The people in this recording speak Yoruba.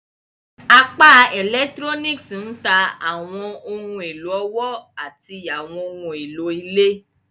Apá Electronics n ta awọn ohun elo ọwọ ati àwọn ohùn èló ilé.